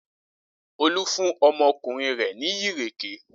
Olú fún ọmọkùnrin rẹ̀ ní ìrèké?